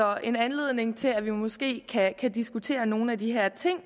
er en anledning til at vi måske kan diskutere nogle af de her ting